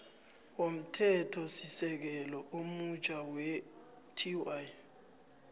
womthethosisekelo omutjha tw